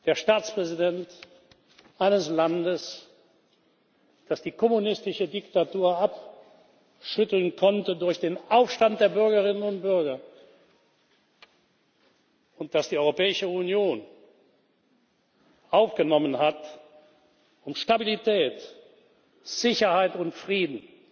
Der Staatspräsident eines Landes, das die kommunistische Diktatur abschütteln konnte durch den Aufstand der Bürgerinnen und Bürger und das die Europäische Union aufgenommen hat, um Stabilität, Sicherheit und Frieden